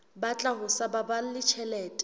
batla ho sa baballe tjhelete